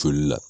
Joli la